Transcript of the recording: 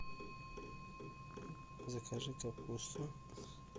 закажи капусту